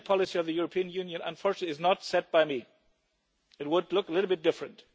The energy policy of the European Union, unfortunately, is not set by me, or it would look a little bit different.